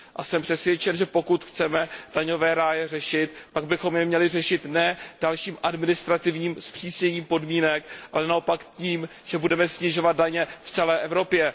Jsem přesvědčen, že pokud chceme daňové ráje řešit, pak bychom je měli řešit ne dalším administrativním zpřísněním podmínek, ale naopak tím, že budeme snižovat daně v celé Evropě.